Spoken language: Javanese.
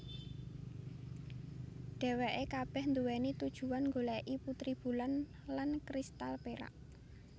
Dheweke kabeh duwéni tujuan nggoleki putri bulan lan kristal perak